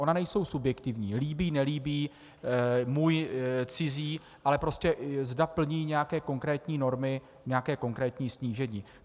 Ona nejsou subjektivní - líbí-nelíbí, můj-cizí, ale prostě zda plní nějaké konkrétní normy, nějaké konkrétní snížení.